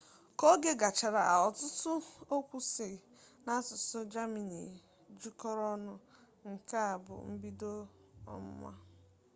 ka oge gachara ọtụtụ okwu si n'asụsụ jamani jikọrọ ọnụ nke a bu mbido ọmụma